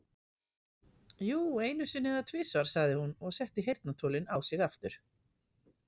Jú, einu sinni eða tvisvar, sagði hún og setti heyrnartólin á sig aftur.